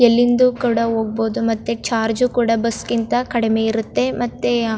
ಎಲ್ಲಿಂದು ಕೂಡ ಹೋಗಬಹುದು ಮತ್ತೆ ಚಾರ್ಜ್ ಕೂಡ ಬಸ್ ಗಿಂತಾ ಕಡಿಮೆ ಇರುತ್ತೆ ಮತ್ತೆ.